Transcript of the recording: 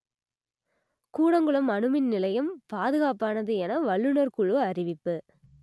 கூடங்குளம் அணுமின் நிலையம் பாதுகாப்பானது என வல்லுநர் குழு அறிவிப்பு